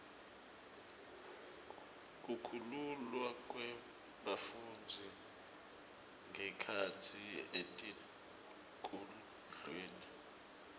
kukhululwa kwebafundzi ngekhatsi etikudlweni